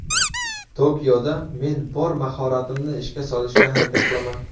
Tokioda men bor mahoratimni ishga solishga harakat qilaman.